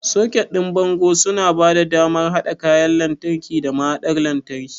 Soket ɗin bango suna ba da damar haɗa kayan lantarki da mahaɗar lantarki.